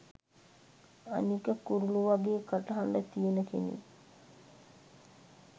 අනික කුරුලු වගේ කටහඬ තියෙන කෙනෙක්